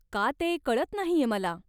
का ते कळत नाहीये मला.